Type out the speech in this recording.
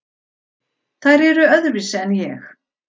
Þær eru öðruvísi en ég.